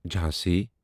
Jhansi